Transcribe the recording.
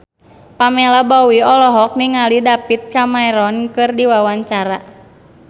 Pamela Bowie olohok ningali David Cameron keur diwawancara